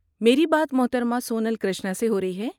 میرے بات محترمہ سونل کرشنا سے ہو رہی ہے؟